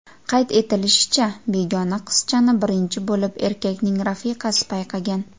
Qayd etilishicha, begona qizchani birinchi bo‘lib erkakning rafiqasi payqagan.